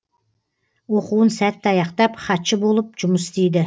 оқуын сәтті аяқтап хатшы болып жұмыс істейді